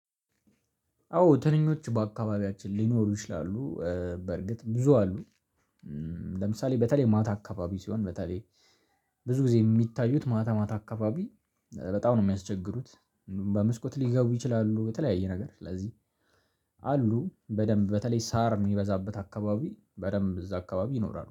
አዎ ትንኞች በአካባቢያችን ሊኖሩ ይችላሉ። በርግጥ ብዙ አሉ። ለምሳሌ በተለይ ማታ አካባቢ ሲሆን በተለይ ብዙ ጊዜ የሚታዩት ማታ ማታ አካባቢ በጣም ነው ሚያስቸግሩት በመስኮት ሊገቡ ይችላሉ በተለያየ ነገር ስለዚህ አሉ በደንብ በተለይ ሳር ሚበዛበት አካባቢ በደንብ እዛ አካባቢ ይኖራሉ።